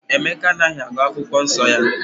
Emeka anaghị agụ akwụkwọ nsọ ya